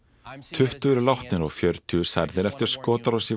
tuttugu eru látnir og fjörutíu særðir eftir skotárás í